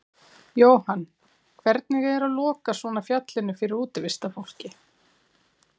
Jóhann: Hvernig er að loka svona fjallinu fyrir útivistarfólki?